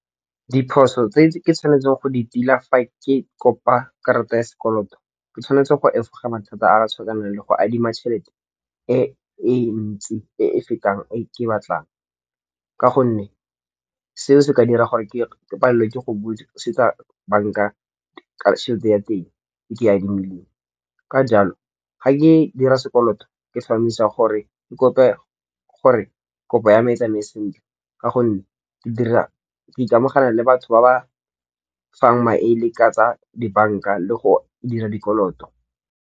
Diphoso tse ke tshwanetseng go di tila fa ke kopa karata ya sekoloto, ke tshwanetse go efoga mathata a a tshwanang le go adima tšhelete e e ntsi e e fetang e ke batlang. Ka gonne seo se ka dira gore ke palelelwe ke go busetsa banka ka tšhelete ya teng e ke adimileng. Ka jalo, ga ke dira sekoloto ke tlhomamisa gore ke kope gore kopo ya me e tsamaye sentle ka gonne ke ikamogela le batho ba ba fang maele ka tsa dibanka le go dira dikoloto.